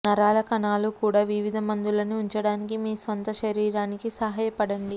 నరాల కణాలు కూడా వివిధ మందులని ఉంచడానికి మీ స్వంత శరీరానికి సహాయపడండి